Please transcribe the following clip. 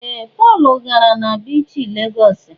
Ee! Pọl gara na biichi Legọs.